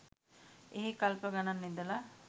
එහේ කල්ප ගණන් ඉඳලා